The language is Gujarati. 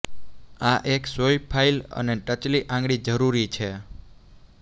આ એક સોય ફાઇલ અને ટચલી આંગળી જરૂરી છે